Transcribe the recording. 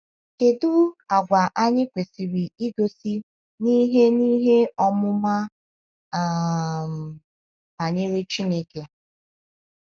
Kedu àgwà anyị kwesịrị igosi n’ihe n’ihe ọmụma um banyere Chineke?